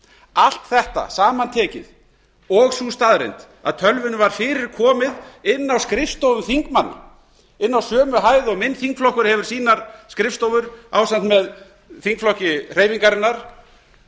allt þetta samantekið og sú staðreynd að tölvunni var fyrir komið inn á skrifstofu þingmanns inn á sömu hæð og minn þingflokkur hefur sínar skrifstofur ásamt með þingflokki hreyfingarinnar